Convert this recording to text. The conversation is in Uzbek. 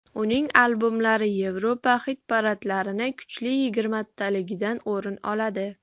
Uning albomlari Yevropa xit-paradlarining kuchli yigirmataligidan o‘rin oladi.